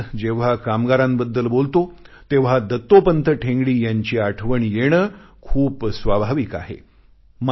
आज जेव्हा कामगारांबद्दल बोलतो तेव्हा दत्तोपंत ठेंगडी यांची आठवण येणे खूप स्वाभाविक आहे